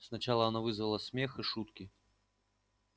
сначала она вызвала смех и шутки